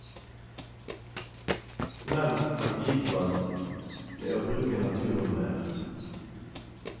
Menn kan bidra med å bruke naturen mer.